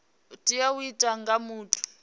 tea u itwa nga muthu